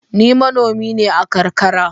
Ni manomi ne a karkara.